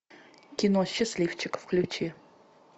кино счастливчик включи